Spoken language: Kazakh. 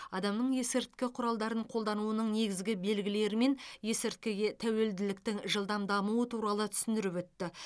адамның есірткі құралдарын қолдануының негізгі белгілері мен есірткіге тәуелділіктің жылдам дамуы туралы түсіндіріп өтті